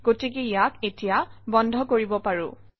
গতিকে ইয়াক এতিয়া বন্ধ কৰিব পাৰোঁ